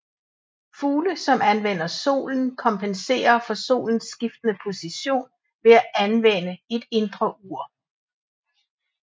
Fugle som anvender solen kompenserer for solens skiftende position ved at anvende et indre ur